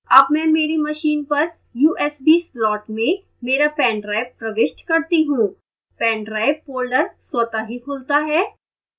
अब मैं मेरी machine पर usb slot में मेरा pendrive प्रविष्ट करता हूँ pendrive folder स्वतः ही खुलता है